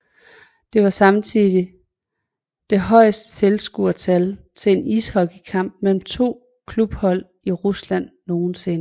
Det var samtidig det højeste tilskuertal til en ishockeykamp mellem to klubhold i Rusland nogensinde